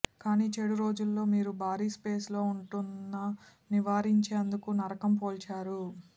కానీ చెడు రోజులలో మీరు భారీ స్పేస్ లో ఉంటున్న నివారించేందుకు నరకం పోల్చారు